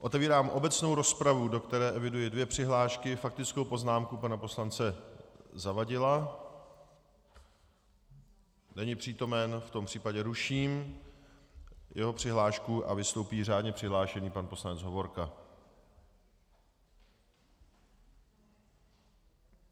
Otevírám obecnou rozpravu, do které eviduji dvě přihlášky, faktickou poznámku pana poslance Zavadila - není přítomen, v tom případě ruším jeho přihlášku a vystoupí řádně přihlášený pan poslanec Hovorka.